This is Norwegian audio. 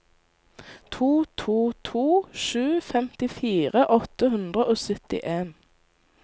to to to sju femtifire åtte hundre og syttien